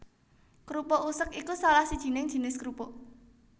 Krupuk usek iku salah sijining jinis krupuk